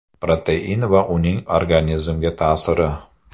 Protein va uning organizmga ta’siri.